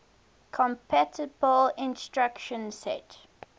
compatible instruction set